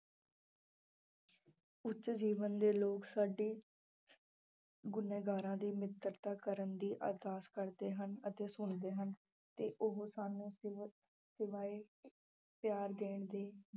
ਉੱਚ ਜੀਵਨ ਦੇ ਲੋਕ ਸਾਡੀ ਗੁਨਹਗਾਰਾਂ ਦੀ ਮਿੱਤਰਤਾ ਕਰਨ ਦੀ ਅਰਦਾਸ ਕਰਦੇ ਹਨ ਅਤੇ ਸੁਣਦੇ ਹਨ ਤੇ ਉਹ ਸਾਨੂੰ ਸਿ~ ਸਿਵਾਏ ਪਿਆਰ ਦੇਣ ਦੇ